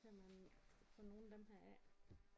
Kan man få nogle af dem her af